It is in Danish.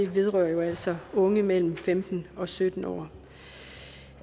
vedrører jo altså unge mellem femten og sytten år